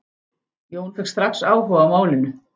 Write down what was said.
Jón fékk strax áhuga á málinu.